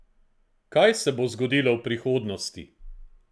Kaj se bo zgodilo v prihodnosti?